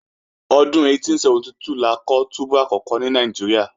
Ọdún 1872 la kọ́ túbú àkọ́kọ́ ní Nàìjíríà